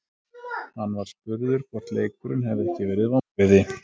Hann var spurður hvort leikurinn hefði ekki verið vonbrigði.